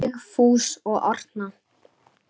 Sigfús og Arna.